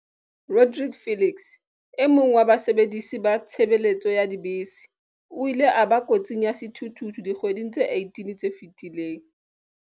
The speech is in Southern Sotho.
Rodrique Felix, e mong wa basebedisi ba tshebeletso ya dibese, o ile a ba kotsing ya sethuthuthu dikgweding tse 18 tse fetileng.